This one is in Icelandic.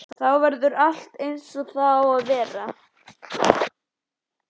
Þá verður allt eins og það á að vera.